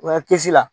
O ye kisi la